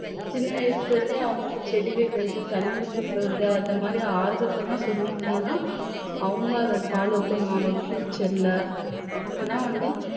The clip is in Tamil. சின்ன வயசுல இருந்தே அவங்களுக்கு செடி வைக்கிறது தண்ணி ஊத்தறது இந்த மாதிரி ஆர்வத்தை எல்லாம் சொன்னீங்கன்னாதான் அவங்களும் அதை follow பண்ணுவாங்க future ல அப்பதான் வந்து